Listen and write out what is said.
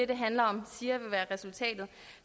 det handler om siger vil være resultatet